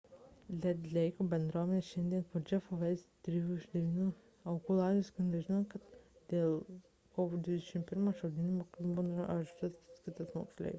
red leiko bendruomenėje šiandien po jeffo weise ir trijų iš devynių aukų laidotuvių sklinda žinios kad dėl kovo 21 d šaudynių mokykloje buvo areštuotas kitas moksleivis